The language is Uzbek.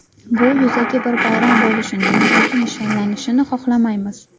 Bu yuzaki bir bayram bo‘lishini, yuzaki nishonlanishini xohlamaymiz.